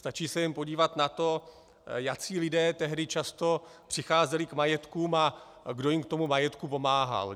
Stačí se jen podívat na to, jací lidé tehdy často přicházeli k majetkům a kdo jim k tomu majetku pomáhal.